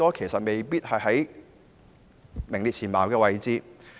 其實未必排行在世界前列位置。